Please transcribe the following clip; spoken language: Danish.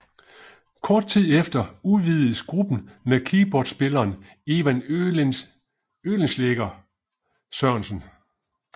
Kort tid efter udvidedes gruppen med keyboardspilleren Ivan Oehlenschlaeg Sørensen